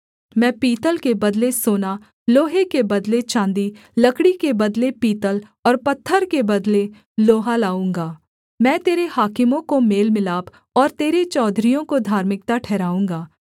मैं पीतल के बदले सोना लोहे के बदले चाँदी लकड़ी के बदले पीतल और पत्थर के बदले लोहा लाऊँगा मैं तेरे हाकिमों को मेलमिलाप और तेरे चौधरियों को धार्मिकता ठहराऊँगा